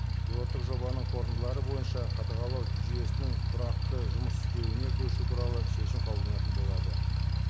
пилоттық жобаның қорытындылары бойынша қадағалау жүйесінің тұрақты жұмыс істеуіне көшу туралы шешім қабылданатын болады